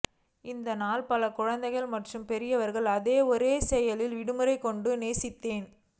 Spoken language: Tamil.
இந்த நாள் பல குழந்தைகள் மற்றும் பெரியவர்கள் அதே ஒரு செயலில் விடுமுறை கொண்டு நேசித்தேன்